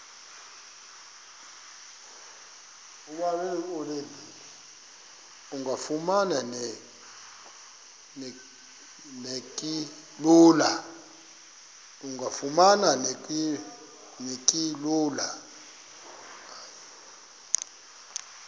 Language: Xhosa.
engafuma neki lula